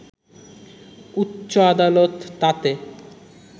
উচ্চ আদালত তাতে